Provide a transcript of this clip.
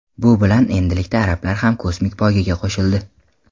Bu bilan endilikda arablar ham kosmik poygaga qo‘shildi.